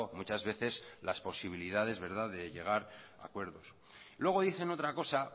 muchas veces las posibilidades de llegar a acuerdos luego dicen otra cosa